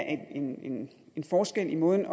en en forskel i måden